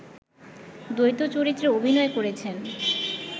দ্বৈত চরিত্রে অভিনয় করেছেন